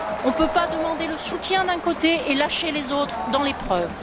On ne peut pas demander le soutien, d'un côté, et lâcher les autres dans l'épreuve.